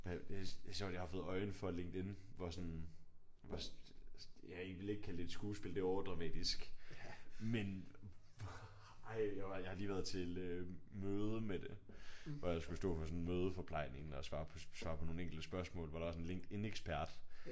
Det er sjovt jeg har fået øje for at LinkedIn hvor sådan hvor ja jeg ville ikke kalde det et skuespil det er overdramatisk. Men ej jeg var jeg har lige været til møde med det hvor jeg skulle stå for sådan mødeforplejningen og svare på nogle enkelte spørgsmål hvor der var sådan en LinkedIn-ekspert